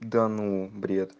да ну бред